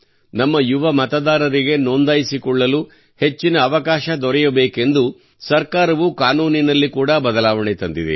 ನಮ್ಮ ಯುವ ಮತದಾರರಿಗೆ ನೋಂದಾಯಿಸಿಕೊಳ್ಳಲು ಹೆಚ್ಚಿನ ಅವಕಾಶ ದೊರೆಯಬೇಕೆಂದು ಸರ್ಕಾರವು ಕಾನೂನಿನಲ್ಲಿ ಕೂಡಾ ಬದಲಾವಣೆ ತಂದಿದೆ